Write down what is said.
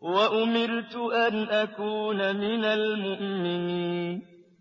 وَأُمِرْتُ أَنْ أَكُونَ مِنَ الْمُؤْمِنِينَ